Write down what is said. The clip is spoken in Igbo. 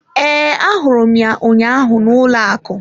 Ee, ahụrụ m ya ụnyaahụ n'ụlọ akụ.